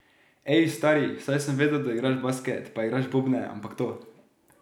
Ej, stari, saj sem vedel, da igraš basket, pa igraš bobne, ampak to ...